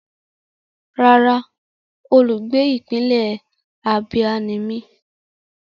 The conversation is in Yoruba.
Rárá, olùgbé ìpínlẹ̀ Abia ni mí.